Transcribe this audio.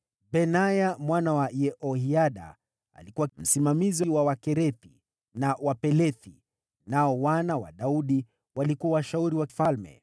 Benaya mwana wa Yehoyada alikuwa msimamizi wa Wakerethi na Wapelethi; nao wana wa Daudi walikuwa washauri wa mfalme.